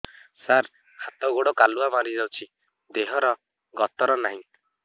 ସାର ହାତ ଗୋଡ଼ କାଲୁଆ ମାରି ଯାଉଛି ଦେହର ଗତର ନାହିଁ